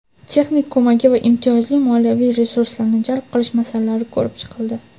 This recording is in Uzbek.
texnik ko‘magi va imtiyozli moliyaviy resurslarini jalb qilish masalalari ko‘rib chiqildi.